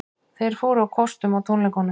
Þeir fóru á kostum á tónleikunum